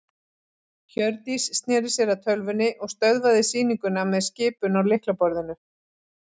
Hjördís sneri sér að tölvunni og stöðvaði sýninguna með skipun á lyklaborðinu.